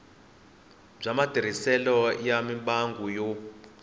bya matirhiselo ya mimbangu yo